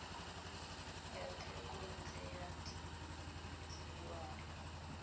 ya thekontle ya diruiwa e